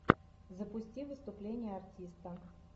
запусти выступление артиста